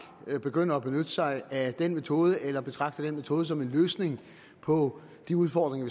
begynder at benytte sig af den metode eller betragter den metode som en løsning på de udfordringer